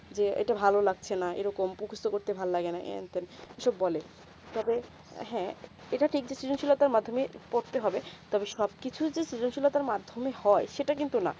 যে এইটা ভালো লাগছে না এইরকম মুখস্ত করতে ভাল লাগে না হেন টেন এই সব বলে তালে হেঁ এইটা ঠিক decision মাধ্যমিক পড়তে হবে তবে সব কিছু সুযোগ ছিল মাধ্যমিক হয়ে সেটা কিন্তু না